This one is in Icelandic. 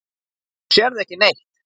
Þú sérð ekki neitt!